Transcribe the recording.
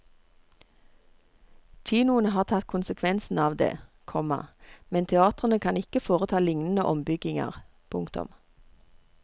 Kinoene har tatt konsekvensen av det, komma men teatrene kan ikke foreta lignende ombygginger. punktum